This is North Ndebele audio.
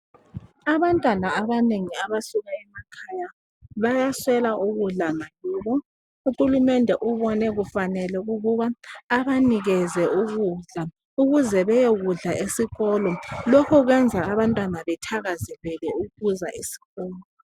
Abantwana abanengi abasuka emakhaya bayaswela ukudla ngakibo uhulumende ubone kufanele ukuba abanikeze ukudla ukuze beyokudla esikolo lokhu kuyenza abantwana bethakazelele ukuza esikolo.